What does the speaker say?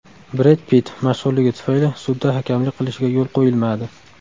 Bred Pitt mashhurligi tufayli sudda hakamlik qilishiga yo‘l qo‘yilmadi.